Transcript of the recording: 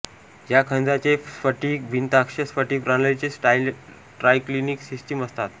या खनिजाचे स्फटिक भिनताक्ष स्फटिक प्रणालीचे ट्रायक्लिनिक सिस्टिम असतात